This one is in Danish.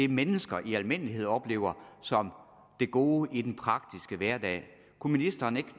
mennesker i almindelighed oplever som det gode i den praktiske hverdag kunne ministeren ikke